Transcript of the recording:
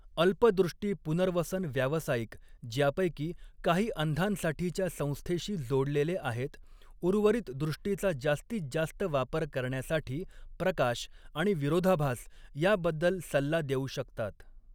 अल्प दृष्टी पुनर्वसन व्यावसायिक, ज्यापैकी काही अंधांसाठीच्या संस्थेशी जोडलेले आहेत, उर्वरित दृष्टीचा जास्तीत जास्त वापर करण्यासाठी प्रकाश आणि विरोधाभास याबद्दल सल्ला देऊ शकतात.